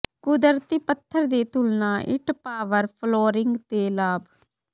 ਕੁਦਰਤੀ ਪੱਥਰ ਦੀ ਤੁਲਨਾ ਇੱਟ ਪਾਵਰ ਫਲੋਰਿੰਗ ਦੇ ਲਾਭ